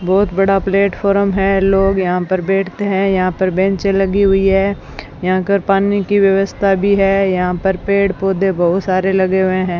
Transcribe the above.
बहोत बड़ा प्लेटफार्म है लोग यहां पर बैठते है यहां पर बेंचे लगी हुई हैं यहां कर पानी की व्यवस्था भी है यहां पर पेड़ पौधे बहुत सारे लगे हुए है।